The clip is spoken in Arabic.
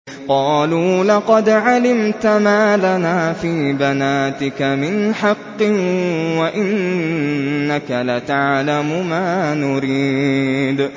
قَالُوا لَقَدْ عَلِمْتَ مَا لَنَا فِي بَنَاتِكَ مِنْ حَقٍّ وَإِنَّكَ لَتَعْلَمُ مَا نُرِيدُ